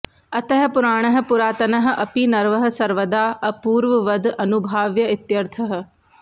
अतः पुराणः पुरातनः अपि नवः सर्वदा अपूर्ववद् अनुभाव्य इत्यर्थः